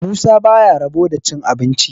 musa ba ya rabo da cin abinci